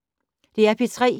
DR P3